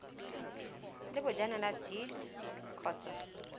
le bojanala dea t kgotsa